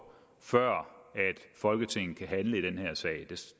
før folketinget kan handle i den her sag